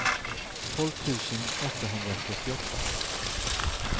tolv tusen åttahundrasjuttioåtta